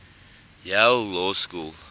yale law school